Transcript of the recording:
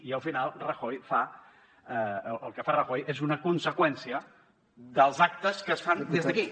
i al final el que fa rajoy és una conseqüència dels actes que es fan des d’aquí